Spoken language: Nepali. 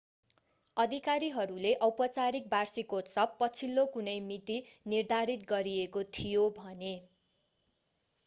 अधिकारीहरूले औपचारिक वार्षिकोत्सव पछिल्लो कुनै मिति निर्धारित गरिएको थियो भने